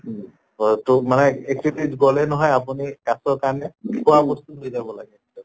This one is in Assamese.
উ তহ মানে গʼলে হহয় আপুনি কাছʼৰ কাৰণে খোৱা বস্তু দিলে হʼল